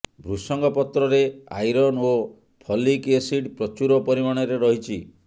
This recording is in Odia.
ଭୃଷଙ୍ଗ ପତ୍ରରେ ଆଇରନ୍ ଓ ଫଲିକ୍ ଏସିଡ ପ୍ରଚୁର ପରିମାଣରେ ରହିଛି